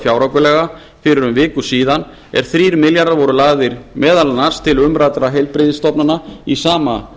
fjáraukalaga fyrir um viku er þrír milljarðar voru meðal annars lagðir til umræddra heilbrigðisstofnana í sama